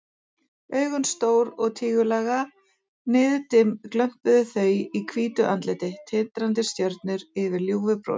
Augun stór og tígullaga, niðdimm glömpuðu þau í hvítu andliti, tindrandi stjörnur yfir ljúfu brosi.